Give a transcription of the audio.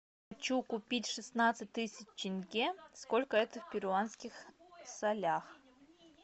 хочу купить шестнадцать тысяч тенге сколько это в перуанских солях